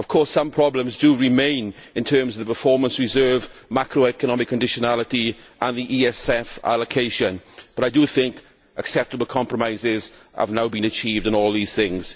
Some problems do remain in terms of the performance reserve, macroeconomic conditionality and the ESF allocation, but acceptable compromises have now been achieved on all these things.